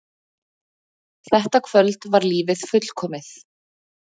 Þetta kvöld var lífið fullkomið.